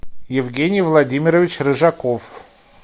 евгений владимирович рыжаков